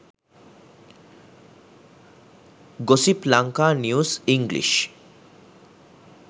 gossip lanka news english